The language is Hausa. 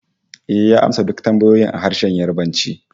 Ehh, ya amsa duk tambayoyin a harshen Yarbanci